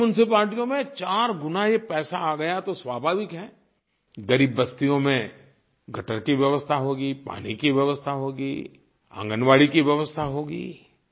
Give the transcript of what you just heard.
अब उन म्यूनिसिपैलिटी में 4 गुना ये पैसा आ गया तो स्वाभाविक है ग़रीब बस्तियों में गटर की व्यवस्था होगी पानी की व्यवस्था होगी आंगनबाड़ी की व्यवस्था होगी